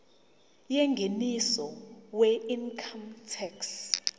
yengeniso weincome tax